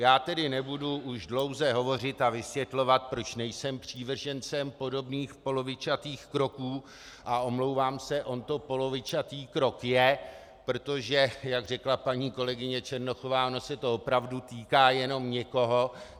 Já tedy nebudu už dlouze hovořit a vysvětlovat, proč nejsem přívržencem podobných polovičatých kroků, a omlouvám se, on to polovičatý krok je, protože jak řekla paní kolegyně Černochová, ono se to opravdu týká jenom někoho.